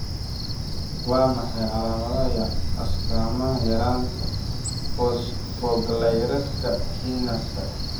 Waa maxay calaamadaha iyo astaamaha yaraanta Phosphoglyceratka kinaska?